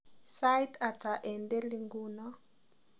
Sait hata eng deli nguno